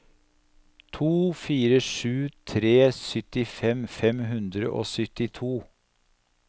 to fire sju tre syttifem fem hundre og syttito